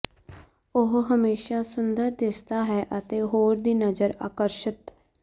ਉਹ ਹਮੇਸ਼ਾ ਸੁੰਦਰ ਦਿਸਦਾ ਹੈ ਅਤੇ ਹੋਰ ਦੀ ਨਜ਼ਰ ਆਕਰਸ਼ਿਤ